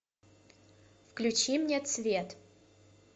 включи мне цвет